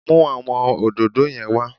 Mú àwọn òdòdó yẹn wá